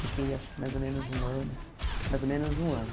Fiquei acho que mais ou menos um ano, mais ou menos um ano.